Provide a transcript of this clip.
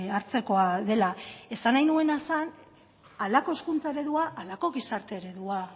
hartzekoa dela esan nahi nuena zan halako hezkuntza eredua halako gizarte eredua